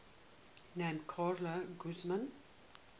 named carla guzman